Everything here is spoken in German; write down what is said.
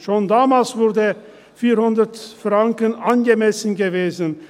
Schon damals wäre 400 Franken angemessen gewesen.